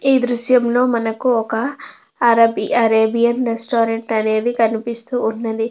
ఈ దృశ్యంలో మనకు ఒక అరబి అరేబియన్ రెస్టారెంట్ అనేది కనిపిస్తువున్నది.